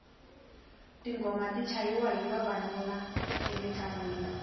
tinghoma ti chayiwa hi vavanuna emintlangwini